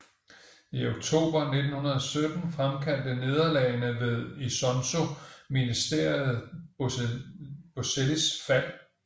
I oktober 1917 fremkaldte nederlagene ved Isonzo Ministeriet Bosellis fald